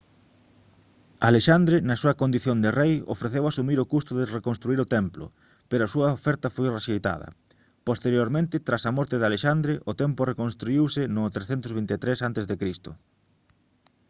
alexandre na súa condición de rei ofreceu asumir o custo de reconstruír o templo pero a súa oferta foi rexeitada posteriormente tras a morte de alexandre o templo reconstruíuse no 323 a c